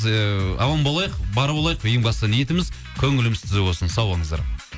аман болайық бар болайық ең бастысы ниетіміз көңіліміз түзу болсын сау болыңыздар